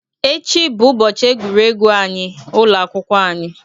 Echi bụ ụbọchị egwuregwu anyị. ụlọ akwụkwọ anyị.